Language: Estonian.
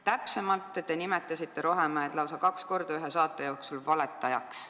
Täpsemalt, te nimetasite Rohemäed ühe saate jooksul lausa kaks korda valetajaks.